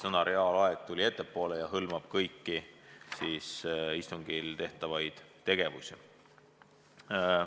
Sõna "reaalaeg" tuli ettepoole ja hõlmab kõiki istungil tehtavaid tegevusi.